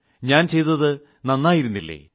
ഞാൻ ചെയ്തത് നന്നായിരുന്നില്ലേ